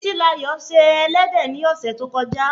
Títílayò se ẹlẹ́dẹ̀ ni ọ̀sẹ̀ tó kọjá